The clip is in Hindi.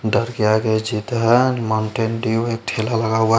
डर के आगे जीत है माउंटेन डिउ एक ठेला लगा हुआ--